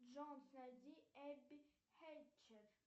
джой найди эбби хэтчер